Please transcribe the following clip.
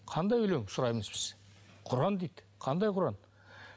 қандай өлең сұраймыз біз құран дейді қандай құран